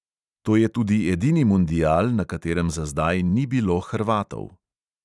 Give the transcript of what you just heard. To je tudi edini mundial, na katerem za zdaj ni bilo hrvatov.